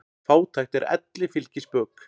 Fátækt er elli fylgispök.